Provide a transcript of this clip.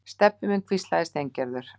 Stebbi minn hvíslaði Steingerður.